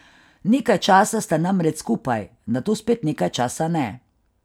Nekaj časa sta namreč skupaj, nato spet nekaj časa ne.